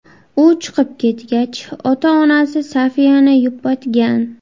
U chiqib ketgach, ota-onasi Sofiyani yupatgan.